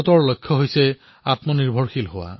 ভাৰতৰ লক্ষ্য হল আত্মনিৰ্ভৰ ভাৰত